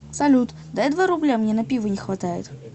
салют дай два рубля мне на пиво не хватает